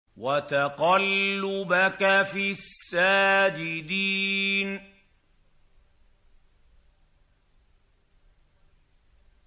وَتَقَلُّبَكَ فِي السَّاجِدِينَ